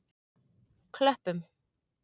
Klöppum